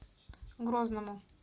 грозному